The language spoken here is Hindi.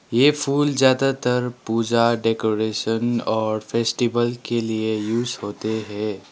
ये फूल ज्यादातर पूजा डेकोरेशन और फेस्टिवल के लिए यूज होते है।